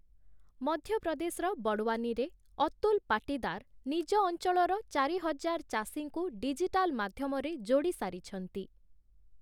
ମଧ୍ୟପ୍ରଦେଶର ବଡ଼ୱାନୀରେ ଅତୁଲ ପାଟୀଦାର ନିଜ ଅଂଚଳର ଚାରି ହଜାର ଚାଷୀଙ୍କୁ ଡିଜିଟାଲ୍ ମାଧ୍ୟମରେ ଯୋଡ଼ିସାରିଛନ୍ତି ।